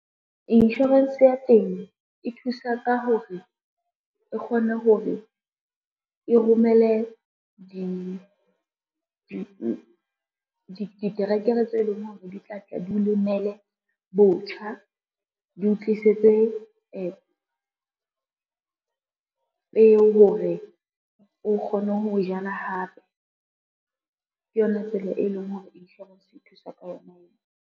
Insurance ya temo e thusa ka hore, e kgone ho re e romele diterekere tse leng hore di tla tla di o lemele botjha, di o tlisetse peo hore o kgone ho jala hape. Ke yona tsela e leng hore insurance e thusa ka yona eo.